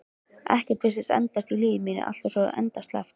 Ekkert virtist endast í lífi mínu, allt var svo endasleppt.